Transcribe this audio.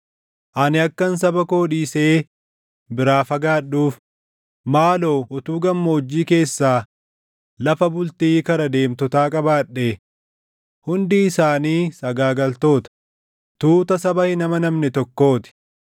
Ani akkan saba koo dhiisee biraa fagaadhuuf, maaloo utuu gammoojjii keessaa lafa bultii kara deemtotaa qabaadhee! Hundi isaanii sagaagaltoota, tuuta saba hin amanamne tokkoo ti.